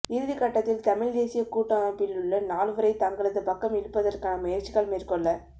இறுதிக்கட்டத்தில தமிழ் தேசிய கூட்டமைப்பிலுள்ள நால்வரை தங்களது பக்கம் இழுப்பதற்கான முயற்சிகள் மேற்கொள